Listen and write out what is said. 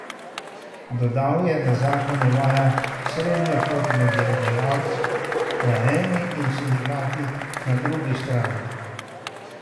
Dodal je, da zakon uvaja srednjo pot med delodajalci na eni in sindikati na drugi strani.